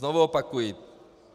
Znovu opakuji.